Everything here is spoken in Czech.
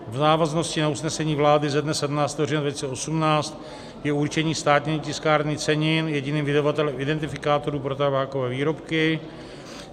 V návaznosti na usnesení vlády ze dne 17. října 2018 je určení Státní tiskárny cenin jediným vydavatelem identifikátoru pro tabákové výrobky.